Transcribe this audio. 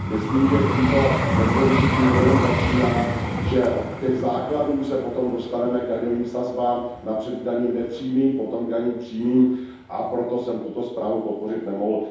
Myslím, že tím to nekončí, tím to jenom začíná, že od těch základů se potom dostaneme k daňovým sazbám, napřed k daním nepřímým, potom k daním přímým, a proto jsem tuto zprávu podpořit nemohl.